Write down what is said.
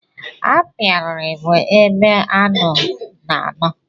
Apiari bụ ebe aṅụ na-ano.